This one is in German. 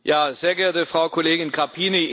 Sehr geehrte Frau Kollegin Grapini!